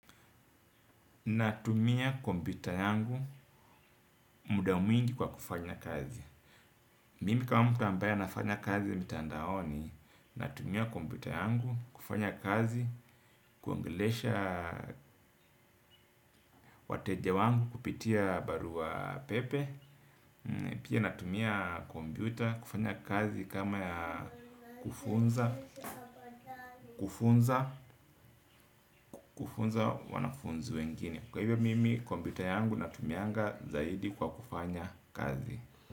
Natumia kombita yangu muda mwingi kwa kufanya kazi. Mimi kama mtu ambaye anafanya kazi mitandaoni. Natumia kombita yangu kufanya kazi. Kuongelesha wateja wangu kupitia barua pepe. Pia natumia kompyuta kufanya kazi kama ya kufunza. Kufunza wanafunzi wengine kwa hivyo mimi komyuta yangu natumianga zaidi kwa kufanya kazi.